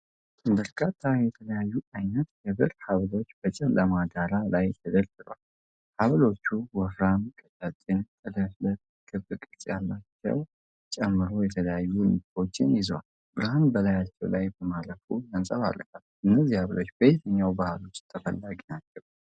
በርካታ የተለያዩ ዓይነት የብር ሐብሎች በጨለማ ዳራ ላይ ተደርድረዋል። ሐብሎቹ ወፍራም፣ ቀጫጭን፣ ጥልፍልፍ እና ክብ ቅርጽ ያላቸውን ጨምሮ የተለያዩ ንድፎችን ይዘዋል። ብርሃን በላያቸው ላይ በማረፍ ያንጸባርቃሉ፤ እነዚህ ሐብሎች በየትኛው ባህል ውስጥ ተፈላጊ ናቸው?